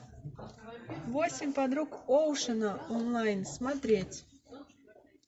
восемь подруг оушена онлайн смотреть